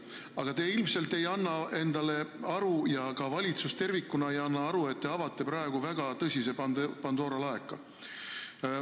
Aga te ilmselt ei anna endale aru ja ka valitsus tervikuna ei anna endale aru, et te avate praegu ehtsa Pandora laeka.